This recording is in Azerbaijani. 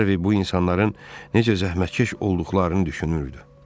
Harvi bu insanların necə zəhmətkeş olduqlarını düşünürdü.